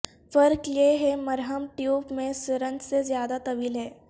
فرق یہ ہے مرہم ٹیوب میں سرنج سے زیادہ طویل ہے